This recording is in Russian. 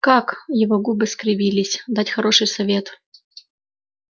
как его губы скривились дать хороший совет